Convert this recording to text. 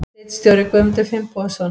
Ritstjóri Guðmundur Finnbogason.